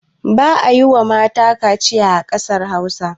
Ba a yiwa mata kaciya a ƙasar Hausa.